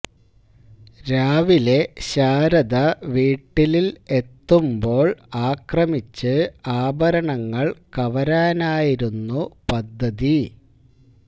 രാവിലെ ശാരദ വീട്ടിലില് എത്തുമ്പോള് ആക്രമിച്ച് ആഭരണങ്ങള് കവരാനായിരുന്നു പദ്ധതി